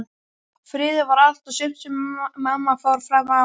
Friður var allt og sumt sem mamma fór fram á.